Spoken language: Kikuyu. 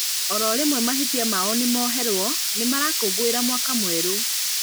Oro rĩmwe mahĩtia mao nĩmoherwo, nĩmarakũngũĩra mwaka mwerũ